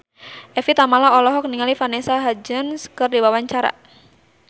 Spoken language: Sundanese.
Evie Tamala olohok ningali Vanessa Hudgens keur diwawancara